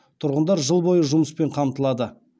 тұрғындар жыл бойы жұмыспен қамтылады